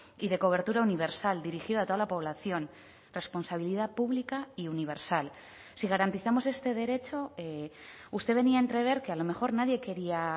y de cobertura universal dirigido a toda la población responsabilidad pública y universal si garantizamos este derecho usted venía a entrever que a lo mejor nadie quería